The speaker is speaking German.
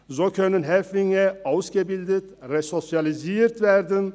So können Häftlinge ausgebildet und resozialisiert werden.